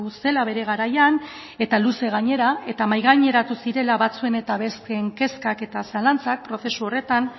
zela bere garaian eta luze gainera eta mahai gaineratu zirela batzuen eta besteen kezkak eta zalantzak prozesu horretan